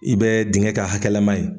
I bɛ dinkɛ kɛ hakɛla ma ye